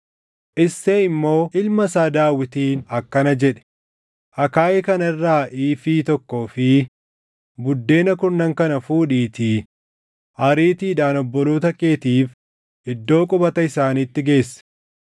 Isseey immoo ilma isaa Daawitiin akkana jedhe; “Akaayii kana irraa iifii + 17:17 Iifiin tokko gara kiiloo giraamii 16. tokkoo fi buddeena kurnan kana fuudhiitii ariitiidhaan obboloota keetiif iddoo qubata isaaniitti geessi.